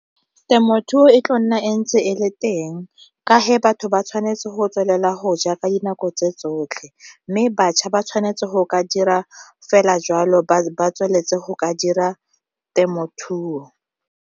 Temothuo e tlo nna e ntse e le teng ka batho ba tshwanetse go tswelela go ja ka dinako tse tsotlhe, mme batjha ba tshwanetse go ka dira fela jwalo ba tsweletse go ka dira temothuo.